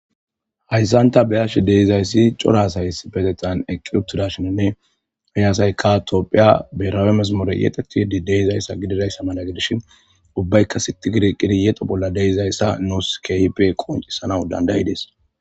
Hayssan ta be'ashe de'izayssi cora asati issippeteththan eqqi uttidashininne he asaykka tophphiya birawe mezimure yexxidi de'izayssa mala gidishin ubbaykka sitti giidi eqqidi yexo bolla de'izayssa nuusi keehippe qonccisanaw danda'ides.